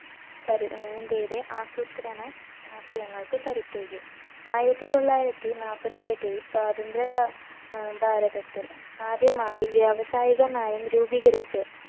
കരു അഹ് ഇന്ത്യയുടെ ആസൂത്രണ ആശയങ്ങൾക്ക് കരുത്തേകി ആയിരത്തി തൊള്ളായിരത്തി നാൽപ്പത്തി ഏട്ടിൽ സ്വാതന്ത്ര്യ ഭാ അഹ് ഭാരതത്തിൽ ആദ്യമായി വ്യാവസായിക നയം രൂപീകരിച്ച്